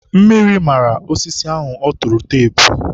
mmiri mara osisi ahụ ọ tụrụ teepu.